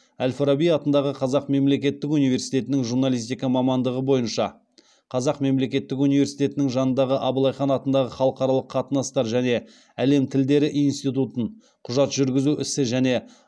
әл фараби атындағы қазақ мемлекеттік университетін журналистика мамандығы бойынша қазақ мемлекеттік университетінің жанындағы абылайхан атындағы халықаралық қатынастар және әлем тілдері институтын құжат жүргізу ісі және